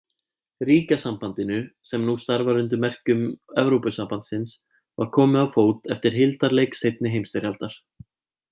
Ríkjasambandinu, sem nú starfar undir merkjum Evrópusambandsins, var komið á fót eftir hildarleik seinni heimsstyrjaldar.